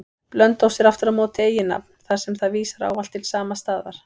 Blönduós er aftur á móti eiginnafn, þar sem það vísar ávallt til sama staðar.